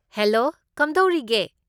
Hello, ꯀꯝꯗꯧꯔꯤꯒꯦ?